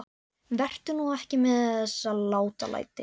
Vertu nú ekki með þessi látalæti.